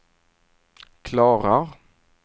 klarar